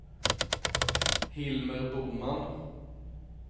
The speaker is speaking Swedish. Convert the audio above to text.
Hilmer Boman